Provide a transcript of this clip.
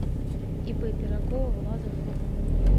ип пирогова влада фурмана